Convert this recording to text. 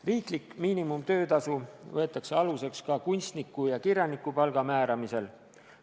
Riiklik miinimumtöötasu võetakse aluseks ka kunstniku- ja kirjanikupalga määramisel.